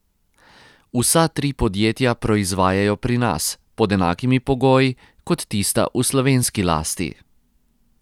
Vsa tri podjetja proizvajajo pri nas, pod enakimi pogoji kot tista v slovenski lasti.